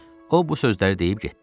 O bu sözləri deyib getdi.